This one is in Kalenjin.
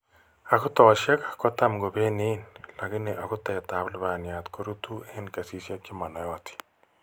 Agutosiek kotam kobenign lakini agutet ab lubwaniat koruutu eng kesisiek chemanaiyotin